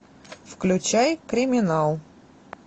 включай криминал